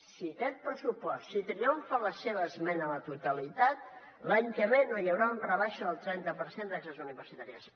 si aquest pressupost si triomfa la seva esmena a la totalitat l’any que ve no hi haurà una rebaixa del trenta per cent de taxes universitàries